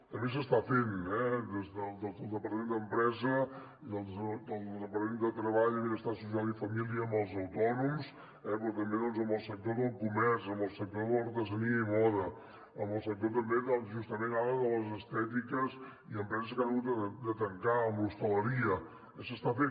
també s’està fent des del departament d’empresa i el departament de treball afers socials i famílies amb els autònoms però també amb el sector del comerç amb el sector de l’artesania i moda amb el sector també justament ara de les estètiques i empreses que han hagut de tancar amb l’hostaleria s’està fent